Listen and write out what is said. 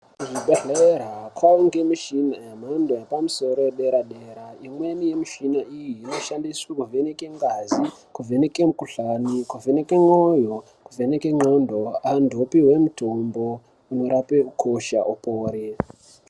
Kuzvibhedhlera kwavanokwe michina yemhando yepamusoro yedera-dera. Imweni yemichina iyi inoshandise kuvheneka ngazi, kuvheneke mikuhlani, kuvheneke mwoyo, kuvheneke ndxondo. Antu opihwa mutombo unorape ukosha upore.